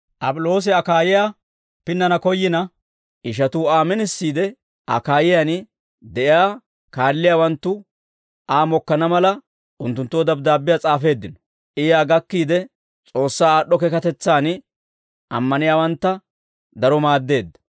Ap'iloosi Akaayiyaa pinnana koyyina, ishatuu Aa minisiide, Akaayiyaan de'iyaa kaalliyaawanttu Aa mokkana mala, unttunttoo dabddaabbiyaa s'aafeeddino; I yaa gakkiide, S'oossaa aad'd'o keekatetsaan ammaniyaawantta daro maaddeedda.